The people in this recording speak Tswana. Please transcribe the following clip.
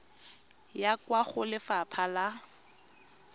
ya kwa go lefapha la